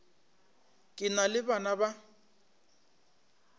ke na le bana ba